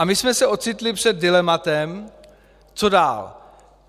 A my jsme se ocitli před dilematem, co dál.